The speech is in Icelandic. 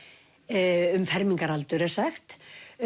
um fermingaraldur er sagt